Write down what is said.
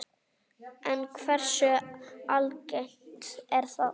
En hversu algengt er það?